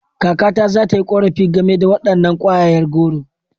Kakata za ta yi korafi game da wadannan kwayayen goro.